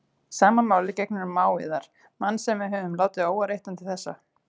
Sama máli gegnir um mág yðar, mann sem við höfum látið óáreittan til þessa.